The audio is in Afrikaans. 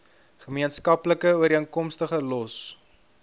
gemeenskaplike ooreenkomste los